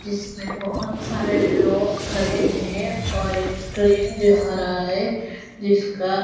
जिसमें बहोत सारे लोग खड़े हैं और एक ट्रेन जा रहा है जिसका--